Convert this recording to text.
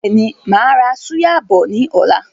Bẹ́ẹ̀ni, máa ra súyà bọ̀ ni ọ̀la.